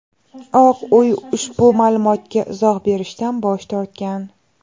Oq uy ushbu ma’lumotga izoh berishdan bosh tortgan.